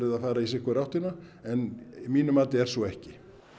að fara í sitt hvora áttina en að mínu mati er svo ekki